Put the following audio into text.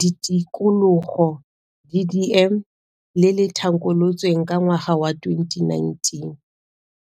Ditikologo, DDM, le le thankolotsweng ka ngwaga wa 2019.